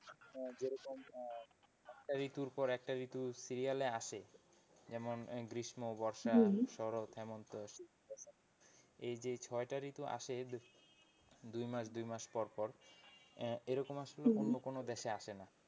ঋতুর পর একটা ঋতু সিরিয়ালে আসে যেমন গ্রীষ্ম বর্ষা শরৎ হেমন্ত শীত এই যে ছয়টা ঋতু আসে দুই মাস দুই মাস পর পর এরকম আসলে অন্য কোন দেশে আসে না।